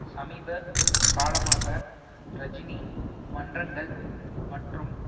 சமீப காலமாக ரஜினி மன்றங்கள் மற்றும்